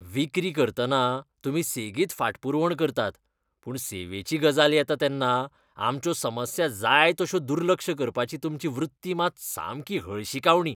विक्री करतना तुमी सेगीत फाटपुरवण करतात पूण सेवेची गजाल येता तेन्ना आमच्यो समस्या जाय तश्यो दुर्लक्ष करपाची तुमची वृत्ती मात सामकी हळशिकावणी.